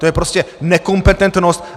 To je prostě nekompetentnost!